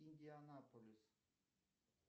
индианаполис